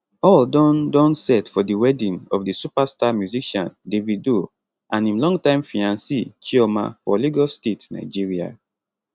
all don don set for di wedding of di superstar musician davido and im long time fiance chioma for lagos state nigeria